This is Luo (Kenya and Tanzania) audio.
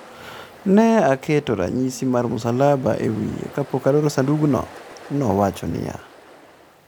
Ne aketo ranyisi mar msalaba e wiye kapok aloro sandukno,'' nowacho niya.